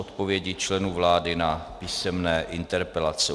Odpovědi členů vlády na písemné interpelace